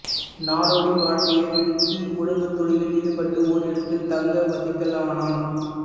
நாடோடி வாழ்க்கையை விடுத்து உழவுத் தொழிலில் ஈடுபட்டு ஓரிடத்தில் தங்க வசிக்கலானான்